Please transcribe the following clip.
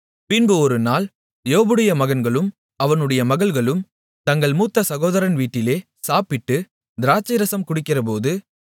பின்பு ஒருநாள் யோபுடைய மகன்களும் அவனுடைய மகள்களும் தங்கள் மூத்த சகோதரன் வீட்டிலே சாப்பிட்டு திராட்சைரசம் குடிக்கிறபோது